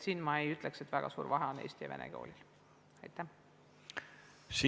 Siin ma ei ütleks, et on eesti ja vene koolil väga suur vahe.